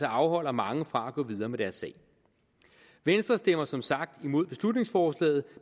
afholder mange fra at gå videre med deres sag venstre stemmer som sagt imod beslutningsforslaget